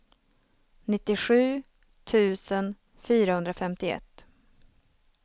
nittiosju tusen fyrahundrafemtioett